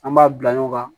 An b'a bila ɲɔgɔn kan